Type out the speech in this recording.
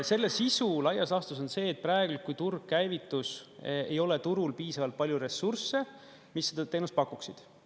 Selle sisu laias laastus on see, et praegu, kui turg käivitus, ei ole turul piisavalt palju ressursse, mis seda teenust pakuksid.